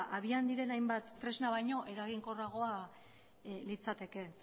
ba abian diren hainbat tresna baino eraginkorragoa litzateke